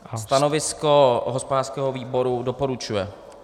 Stanovisko hospodářského výboru - doporučuje.